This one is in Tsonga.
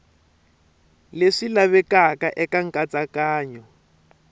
ka leswi lavekaka eka nkatsakanyo